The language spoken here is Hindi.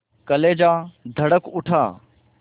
कलेजा धड़क उठा